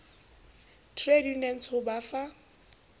trade unions ho ba fa